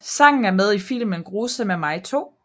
Sangen er med i filmen Grusomme mig 2